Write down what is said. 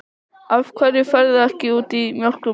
Af hverju ferðu ekki út í mjólkur- búð?